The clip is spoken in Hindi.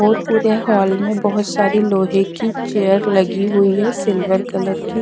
और पूरे हॉल में बहोत सारी लोहे की चेयर लगी हुई है सिल्वर कलर की।